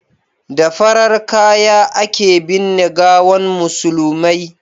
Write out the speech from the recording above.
da farar kaya a ke binne gawan musulmai